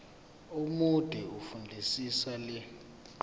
omude fundisisa le